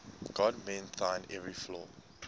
god mend thine every flaw